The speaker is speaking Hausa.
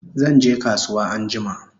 Zanje kasuwa anjima